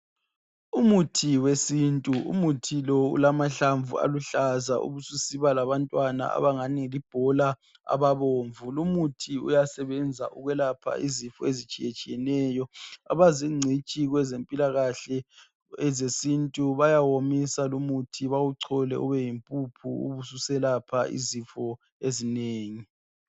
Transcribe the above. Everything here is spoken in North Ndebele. Umuthi wesintu umuthi lo ulamahlamvu aluhlaza ubusiba labantwana abangani libhola ababomvu, lumuthi uyasebenza ukwelapha izifo ezitshiye tshiyeneyo, abazingcitshi kwezempilakahle ezesintu bayawomisa lumuthi bawuchole ube yi mpuphu ubusu selapha izifo ezinengi.